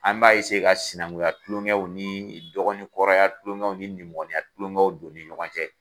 An b'a ka sinankuyaw ni tulonkɛw ni dɔgɔ ni kɔrɔya tulonkɛw ni nimɔgɔniya tulonkɛw don ni ɲɔgɔn cɛ.